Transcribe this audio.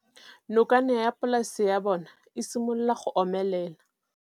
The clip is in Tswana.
Nokana ya polase ya bona, e simolola go omelela.